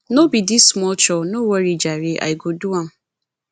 no be dis small chore no worry jare i go do am